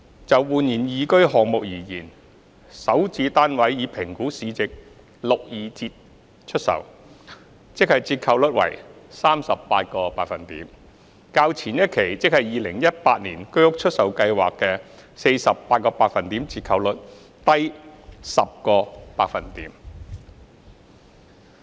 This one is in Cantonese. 就煥然懿居項目而言，首置單位以評估市值六二折出售，即折扣率為 38%， 較前一期居屋出售計劃的 48% 折扣率低 10%。